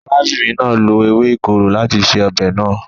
Arábìnrin náà lo ewé ìkorò láti se ọbẹ̀ náà.